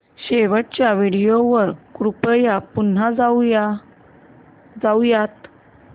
शेवटच्या व्हिडिओ वर कृपया पुन्हा जाऊयात